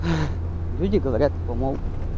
люди говорят типа мол